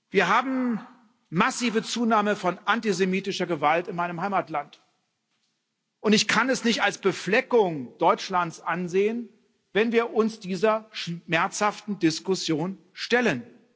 Wir haben eine massive Zunahme von antisemitischer Gewalt in meinem Heimatland, und ich kann es nicht als Befleckung Deutschlands ansehen, wenn wir uns dieser schmerzhaften Diskussion stellen.